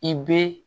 I bɛ